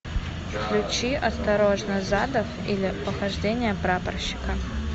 включи осторожно задов или похождения прапорщика